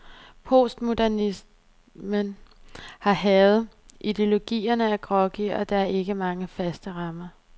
Postmodernismen har hærget, ideologierne er groggy, og der er ikke mange faste rammer.